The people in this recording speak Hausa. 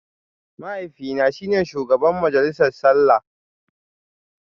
Mahaifina shi ne shugaban majalisa sallah